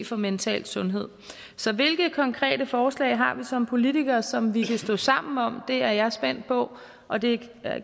for mental sundhed så hvilke konkrete forslag har vi som politikere som vi kan stå sammen om det er jeg spændt på og det